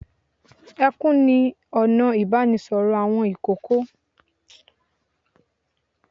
Ẹkún ni ọ̀nà ìbánisọ̀rọ̀ àwọn ìkókó.